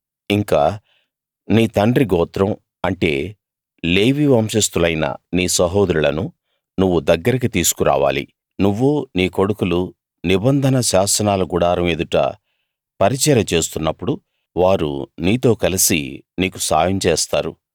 ఇంకా నీ తండ్రి గోత్రం అంటే లేవీ వంశస్తులైన నీ సహోదరులను నువ్వు దగ్గరికి తీసుకు రావాలి నువ్వూ నీ కొడుకులూ నిబంధన శాసనాల గుడారం ఎదుట పరిచర్య చేస్తున్నప్పుడు వారు నీతో కలిసి నీకు సాయం చేస్తారు